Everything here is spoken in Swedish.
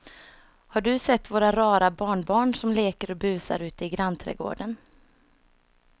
Har du sett våra rara barnbarn som leker och busar ute i grannträdgården!